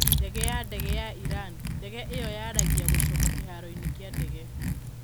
Ndege ya ndege ya Iran: 'Ndege ĩyo yaragia gũcoka kĩharoinĩ kĩa ndege'